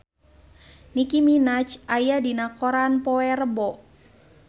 Nicky Minaj aya dina koran poe Rebo